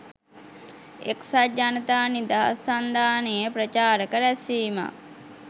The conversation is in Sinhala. එක්සත් ජනතා නිදහස් සන්ධානයේ ප්‍රචාරක රැස්වීමක්